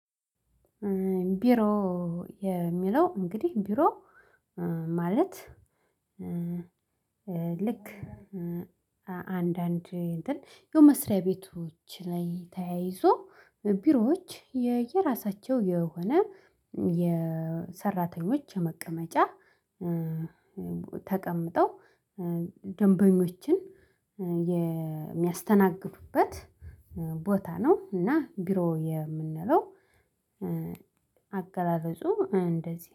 ቢሮ የሚለው እንግዲህ ቢሮ ማለት። ልክ አንዳንድ እንትን ያው መስሪያ ቤቶች ላይ ተያይዞ ቢሮዎች የየራሳቸው የሆነ የሰራተኞች መቀመጫ ተቀምጠው ደንበኞችን የሚያስተናግዱበት ቦታ ነው። እና ቢሮ የምንለው አገላለጹ እንደዚህ